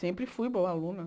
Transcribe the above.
Sempre fui boa aluna.